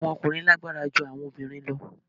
Awọn ọkunrin lagbara ju awọn obinrin lọ